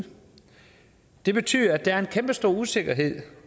det betyder at der er en kæmpestor usikkerhed